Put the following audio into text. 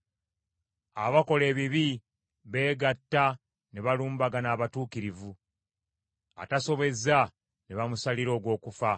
Abakola ebibi beegatta ne balumbagana abatuukirivu; atasobezza ne bamusalira ogw’okufa.